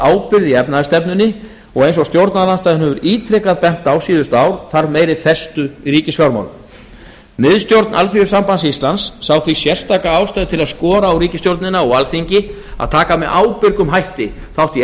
ábyrgð í efnahagsstefnunni og eins og stjórnarandstaðan hefur ítrekað bent á síðustu ár þarf meiri festu í ríkisfjármálum miðstjórn así sá því sérstaka ástæðu til að skora á ríkisstjórnina og alþingi að taka með ábyrgum hætti þátt í